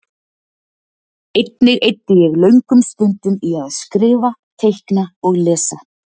Einnig eyddi ég löngum stundum í að skrifa, teikna og lesa.